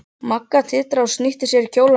Magga titraði og snýtti sér í kjólermina.